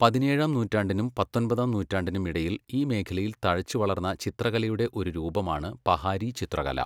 പതിനേഴാം നൂറ്റാണ്ടിനും പത്തൊൻപതാം നൂറ്റാണ്ടിനും ഇടയിൽ ഈ മേഖലയിൽ തഴച്ചുവളർന്ന ചിത്രകലയുടെ ഒരു രൂപമാണ് പഹാരി ചിത്രകല.